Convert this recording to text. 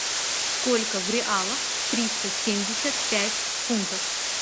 сколько в реалах триста семьдесят пять фунтов